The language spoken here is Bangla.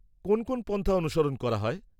-কোন কোন পন্থা অনুসরণ করা হয়?